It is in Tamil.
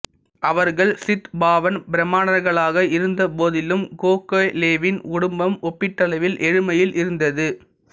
அவர்கள் சித்பாவன் பிராமணர்களாக இருந்தபோதிலும் கோகலேவின் குடும்பம் ஒப்பீட்டளவில் ஏழ்மையில் இருந்தது